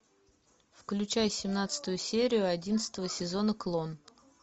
включай семнадцатую серию одиннадцатого сезона клон